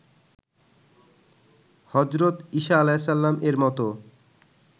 হজরত ইসা আ. -এর মতো